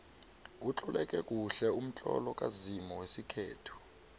utloleke kuhle umtlolo kazimu wesikhethu